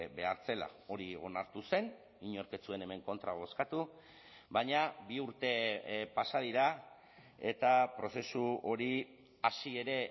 behar zela hori onartu zen inork ez zuen hemen kontra bozkatu baina bi urte pasa dira eta prozesu hori hasi ere